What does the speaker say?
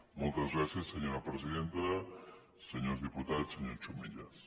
moltes gràcies senyora presidenta senyors diputats senyor chumillas